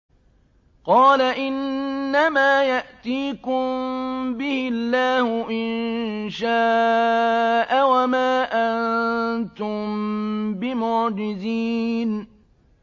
قَالَ إِنَّمَا يَأْتِيكُم بِهِ اللَّهُ إِن شَاءَ وَمَا أَنتُم بِمُعْجِزِينَ